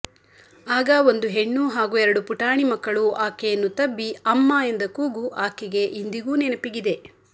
ಆಗ ಒಂದು ಹೆಣ್ಣು ಹಾಗೂ ಎರಡು ಪುಟಾಣಿ ಮಕ್ಕಳು ಆಕೆಯನ್ನು ತಬ್ಬಿ ಅಮ್ಮ ಎಂದ ಕೂಗು ಆಕೆಗೆ ಇಂದಿಗೂ ನೆನಪಿಗಿದೆ